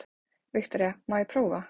Viktoría: Má ég prófa?